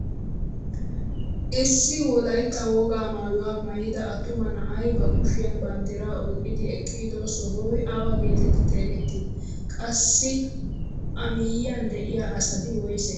Issi wolaytta wogaa maayuwaa maayida attuma na'ay ba kushiyaan banddiraa oyqqidi eqqido sohoy awa getetti xeegettii? Qassi a miyiyaan de'iyaa asati woysee?